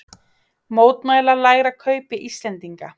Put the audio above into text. Mótmæla lægra kaupi Íslendinga